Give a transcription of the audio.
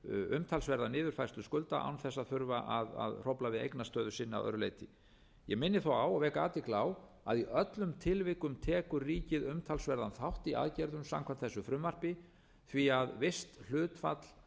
umtalsverða niðurfærslu skulda án þess að hrófla við eignastöðu sinni að öðru leyti ég minni þó á og vek athygli á að í öllum tilvikum tekur ríkið talsverðan þátt í aðgerðum samkvæmt þessu frumvarpi því visst hlutfall